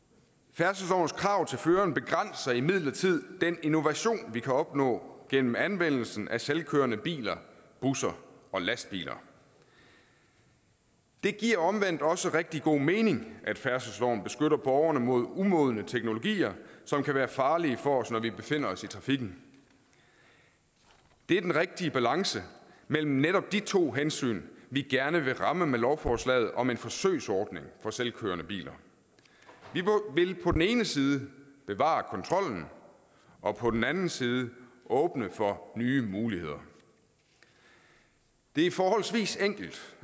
færdselslovens krav til føreren begrænser imidlertid den innovation vi kan opnå gennem anvendelsen af selvkørende biler busser og lastbiler det giver omvendt også rigtig god mening at færdselsloven beskytter borgerne mod umodne teknologier som kan være farlige for os når vi befinder os i trafikken det er den rigtige balance mellem netop de to hensyn vi gerne vil ramme med lovforslaget om en forsøgsordning for selvkørende biler vi vil på den ene side bevare kontrollen og på den anden side åbne for nye muligheder det er forholdsvis enkelt